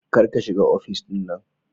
Kar ka shiga ofis din nan